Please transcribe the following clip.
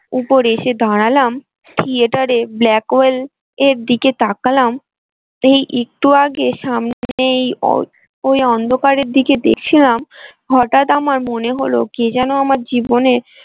উপরে এসে দাঁড়ালাম theatre এ black well এর দিকে তাকালাম এই একটু আগে সামনেই ওই অন্ধকারের দিকে দেখলাম হঠাৎ আমার মনে হল কে যেন আমার জীবনের।